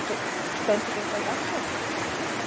Stöndum við þá jafnfætis?